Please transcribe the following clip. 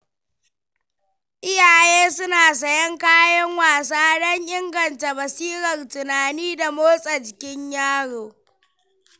Iyaye suna sayen kayan wasa don inganta basirar tunani da motsa jikin yaro.